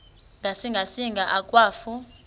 ngasinga singa akwafu